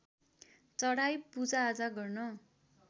चढाई पूजाआजा गर्न